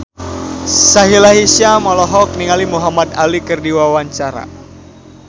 Sahila Hisyam olohok ningali Muhamad Ali keur diwawancara